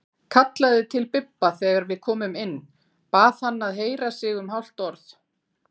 Kallaði til Bibba þegar við komum inn, bað hann að heyra sig um hálft orð.